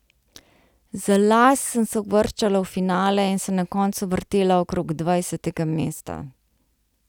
Za las sem se uvrščala v finale in se na koncu vrtela okrog dvajsetega mesta.